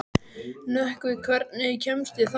Nökkvi, hvernig kemst ég þangað?